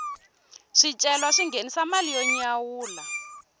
swicelwa swi nghenisa mali yo nyawula